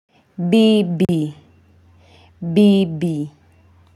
Bibi, bibi.